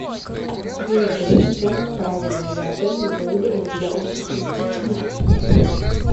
привет ассистент правильный ли отель мы выбрали для отдыха с детьми